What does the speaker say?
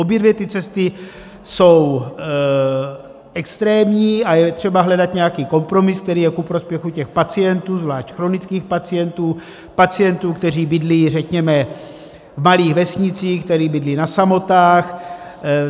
Obě dvě ty cesty jsou extrémní a je třeba hledat nějaký kompromis, který je ku prospěchu těch pacientů, zvlášť chronických pacientů, pacientů, kteří bydlí, řekněme, v malých vesnicích, kteří bydlí na samotách.